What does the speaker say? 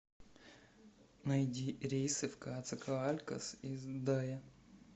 найди рейсы в коацакоалькос из дае